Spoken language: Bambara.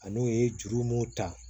A n'o ye juru mun ta